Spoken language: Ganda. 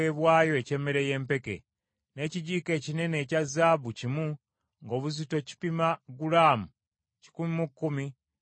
n’ekijiiko ekinene ekya zaabu kimu, ng’obuzito kipima gulaamu kikumi mu kkumi, nga kijjudde ebyakaloosa;